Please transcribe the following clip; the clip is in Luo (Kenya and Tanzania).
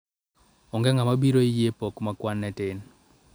onge ng'ama biro yie pok ma kwan ne tin